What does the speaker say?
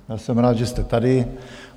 Já jsem rád, že jste tady.